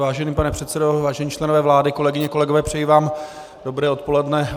Vážený pane předsedo, vážení členové vlády, kolegyně, kolegové, přeji vám dobré odpoledne.